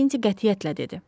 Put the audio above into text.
Makinti qətiyyətlə dedi.